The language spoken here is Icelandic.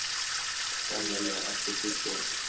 Amilía, áttu tyggjó?